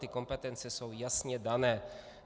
Ty kompetence jsou jasně dané.